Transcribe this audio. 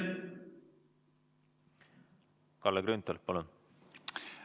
Kalle Grünthal, palun!